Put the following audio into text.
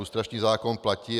Lustrační zákon platí.